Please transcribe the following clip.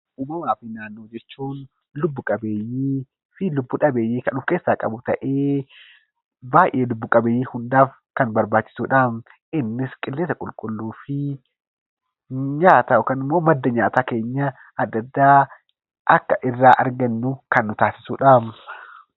Uumamaa fi naannoo jechuun lubbu-qabeeyyii fi lubbu-dhabeeyyii kan of keessaa qabu ta'ee, baay'ee lubbu-qabeeyyii hundaaf kan barbaachisuu dhaam. Innis qilleensa qulqulluu fi nyaata yookaan immoo madda nyaataa keenya adda addaa akka irraa argannu kan nu taasisuu dhaam.